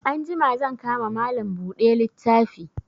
Anjima zan ka ma Malam buɗe littafi